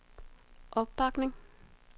opbakning